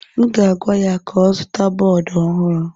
M ga-agwa ya ka ọ zụta bọọdụ ọhụrụ.